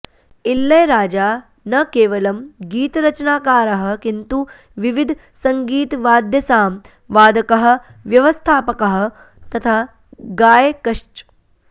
इळैयराजा नकेवलम् गीतरचनाकारः किन्तु विविध सङ्गीत वाद्यसाम् वादकः व्यवस्थापकः तथा गायकश्च